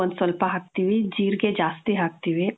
ಒಂದ್ ಸ್ವಲ್ಪ ಹಾಕ್ತೀವಿ, ಜೀರಿಗೆ ಜಾಸ್ತಿ ಹಾಕ್ತೀವಿ.